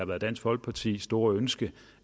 været dansk folkepartis store ønske